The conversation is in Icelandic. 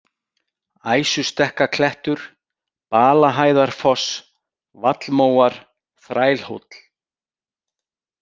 Æsustekkaklettur, Balahæðarfoss, Vallmóar, Þrælhóll